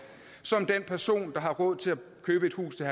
som den person der har råd til at købe et hus til